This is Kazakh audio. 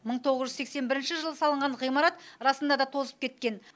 мың тоғыз жүз сексен бірінші жылы салынған ғимарат расында да тозып кеткен